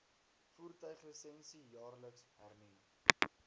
voertuiglisensie jaarliks hernu